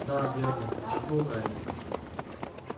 да верно вздохнул гарри